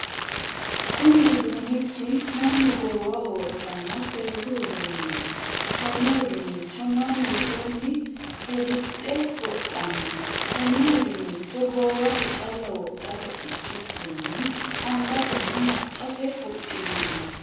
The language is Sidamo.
Kunni uduunichi mannu goowaho wodhano seesu uduuneeti. Konne uduunicho mannu woxunni helidhe wodhano. Konne uduunicho goowaho calla wodhate ikikinni angatenna macate wodhinnanni.